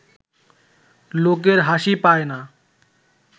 লোকের হাসি পায় না